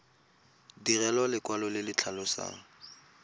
direlwa lekwalo le le tlhalosang